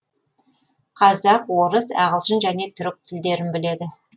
қазақ орыс ағылшын және түрік тілдерін біледі